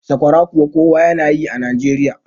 sakwara kuwa kowa yana yi a Najeriya